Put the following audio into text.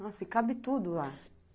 Nossa, e cabe tudo lá.